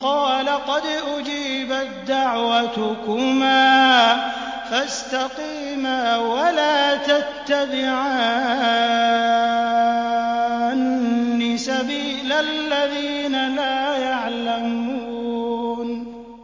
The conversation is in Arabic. قَالَ قَدْ أُجِيبَت دَّعْوَتُكُمَا فَاسْتَقِيمَا وَلَا تَتَّبِعَانِّ سَبِيلَ الَّذِينَ لَا يَعْلَمُونَ